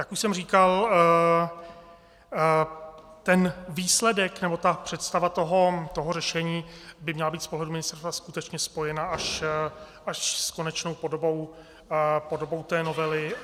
Jak už jsem říkal, ten výsledek, nebo ta představa toho řešení by měla být z pohledu ministerstva skutečně spojena až s konečnou podobou té novely...